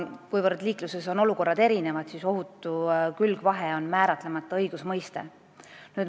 Kuivõrd liikluses on erinevaid olukordi, on ohutu külgvahe määratlemata õigusmõiste.